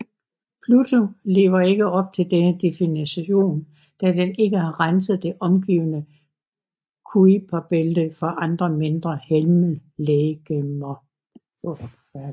Pluto lever ikke op til denne definition da den ikke har renset det omgivende Kuiperbælte for andre mindre himmellegemer